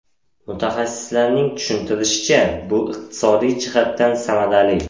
Mutaxassislarning tushuntirishicha, bu iqtisodiy jihatdan samarali.